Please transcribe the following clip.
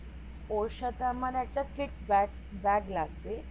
ওর সাথে আমার kick bag bag লাগবে